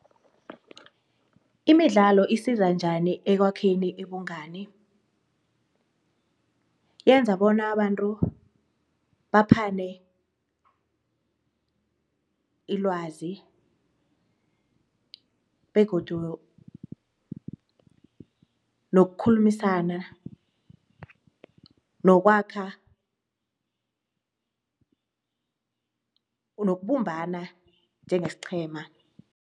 Imidlalo isizo njani emkwakheni ubungani? Yenza bona abantu baphathe ilwazi begodu nokukhulumisana nokwakha nokubumbana njengesiqhema.